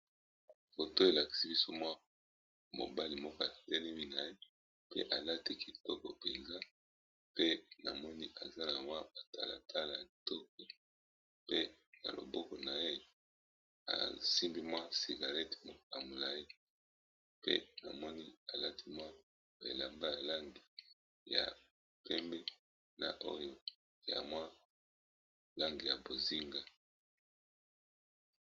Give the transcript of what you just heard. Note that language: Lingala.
Oto elakisi biso mwa mobali moka t na ye pe alati kitoko mpenza pe namoni aza na wa batalatala ya toko pe na loboko na ye asimbi mwa cigarette amolai pe na moni alati mwa belamba ya lange ya pembe na oio ya mwa lange ya bozinga.